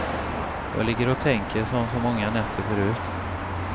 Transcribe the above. Jag ligger och tänker som så många nätter förut.